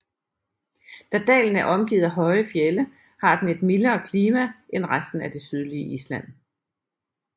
Da dalen er omgivet af høje fjelde har den et mildere klima end resten af det sydlige Island